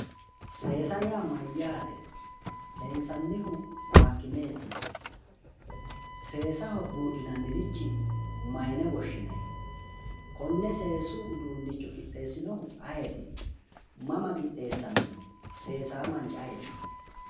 seesa yaa mayyaate? seensannihu makkineeti? seesaho buudhinanniricho mayiine woshshinanni? konne seesu uduunnicho qixxeessinohu ayeeti? mama qixxeessamino? seesaa manchi ayeeti?